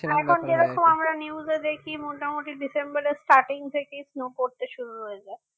এখন যেরকম আমরা news এ দেখি মোটামুটি ডিসেম্বর এর starting থেকে snow পড়তে শুরু হয়ে যায়